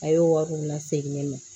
A y'o wariw lasegin ne ma